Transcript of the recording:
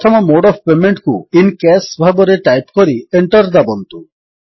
ପ୍ରଥମ mode of ପେମେଣ୍ଟକୁ IN cash ଭାବରେ ଟାଇପ୍ କରି Enter ଦାବନ୍ତୁ